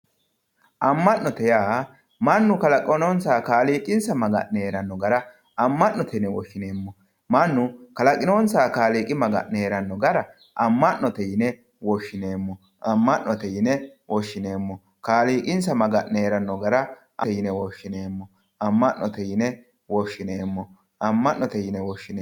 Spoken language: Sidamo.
Amanote yaa mannu kaalaaqinonsaha kaaliqinsa maaganne heeranno garra amanotte yinne woshinemo mannu kaalaqinonsaha kaaliqi maaganne heeranno garra amanotte yinne woshinemo amanotte yinne woshinemo kaaliqinsa maaganne heeranno garra yinne woshinemo amanotte yinne woshinemo amanotte yinne woshinemo